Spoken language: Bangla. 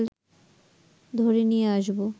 ধরে নিয়ে আসব